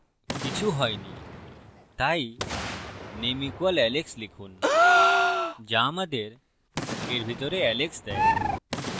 কিছু হইনি তাই name = alex লিখুন যা আমাদের এর ভিতরে alex দেয়